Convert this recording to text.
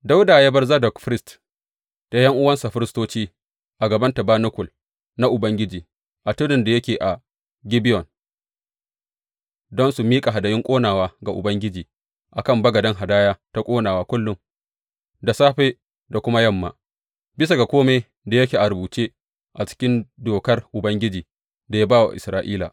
Dawuda ya bar Zadok firist da ’yan’uwansa firistoci a gaban tabanakul na Ubangiji a tudun da yake a Gibeyon don su miƙa hadayun ƙonawa ga Ubangiji a kan bagaden hadaya ta ƙonawa kullum, da safe da kuma yamma, bisa ga kome da yake a rubutacce a cikin Dokar Ubangiji, da ya ba wa Isra’ila.